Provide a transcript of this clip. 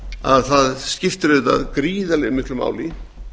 að það skiptir gríðarlega miklu máli